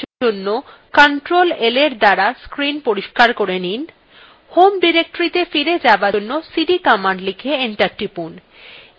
home directoryত়ে ফিরে যাবার জন্য cd command লিখে এন্টার টিপুন